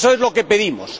Eso es lo que pedimos.